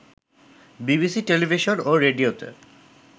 BBC television ও রেডিওতে